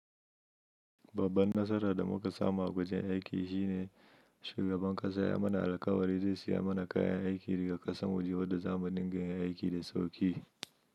Babban nasara da muka samu a wajen aiki shine shugaban ƙasa ya mana alkawari zai siya mana kayan aiki da ƙasan waje wanda za mu dinga yin aiki da sauƙi.